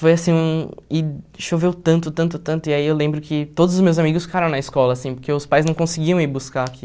Foi assim hum, e choveu tanto, tanto, tanto, e aí eu lembro que todos os meus amigos ficaram na escola, assim, porque os pais não conseguiam ir buscar aqui.